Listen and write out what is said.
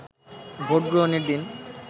ভোটগ্রহণের দিন